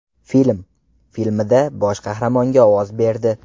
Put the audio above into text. Film” filmida bosh qahramonga ovoz berdi.